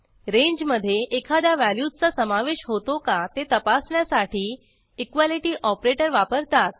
रेंजमधे एखाद्या व्हॅल्यूचा समावेश होतो का ते तपासण्यासाठी इक्वालिटी ऑपरेटर वापरतात